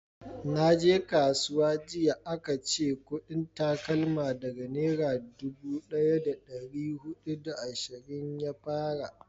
naje kasuwa jiya a ka ce kudin takalma daga nera dubu daya da dari hudu da ashirin ya fara